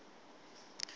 sosinondolo